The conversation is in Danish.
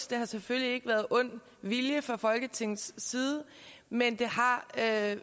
det har selvfølgelig ikke været ond vilje fra folketingets side men det har